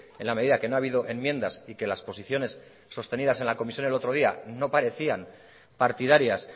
en la medida que no ha habido enmiendas y que las posiciones sostenidas en la comisión el otro día no parecían partidarias